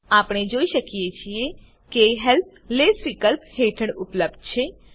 આપણે જોઈ શકીએ છીએ કે હેલ્પ લેસ વિકલ્પ હેઠળ ઉપલબ્ધ છે